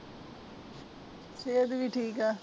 ਸੇਹਤ ਵੀ ਠੀਕ ਹੈ